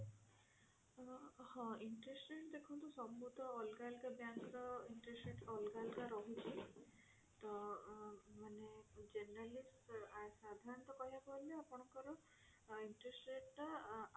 ହଁ interest rate ଦେଖନ୍ତୁ ସବୁ ତ ଅଲଗା ଅଲଗା bank ର interest rate ରହୁଛି ତ ଅଲଗା ଅଲଗା ରହୁଛି ଅ ମାନେ generally ସାଧାରଣତ କହିବାକୁ ଗଲେ ଆପଣଙ୍କର interest rate ଟା